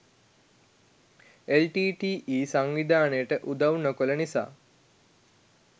LTTE. සංවිධානයට උදව් නොකළ නිසා